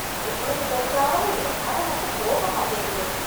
எவ்வளவு தொடச்சாலும் இந்தக் கற மட்டும் போக மாட்டேங்குது.